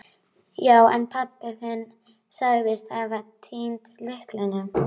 Já, en pabbi þinn sagðist hafa týnt lyklinum.